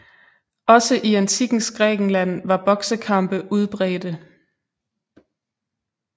Også i Antikkens Grækenland var boksekampe udbredte